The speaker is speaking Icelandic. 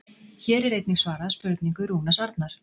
Hér er einnig svarað spurningu Rúnars Arnar: